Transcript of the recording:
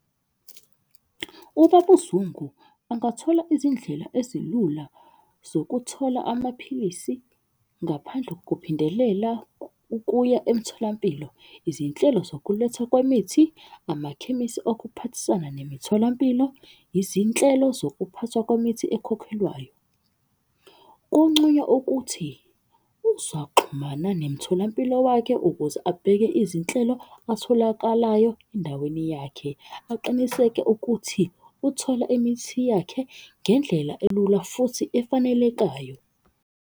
Ubaba uZungu angathola izindlela ezilula zokuthola amaphilisi ngaphandle kuphindela ukuya emtholampilo. Izinhlelo zokulethwa kwemithi, amakhemisi okuphathisana nemitholampilo, izinhlelo zokuphathwa kwemithi ekhokhelwayo. Kunconywa ukuthi uzaxhumana nemtholampilo wakhe ukuze abheke izinhlelo atholakalayo endaweni yakhe. Aqiniseke ukuthi uthola imithi yakhe ngendlela elula futhi efanelekayo.